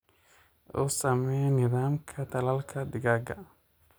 U samee nidaamka tallaalka digaaga.